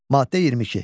Maddə 22.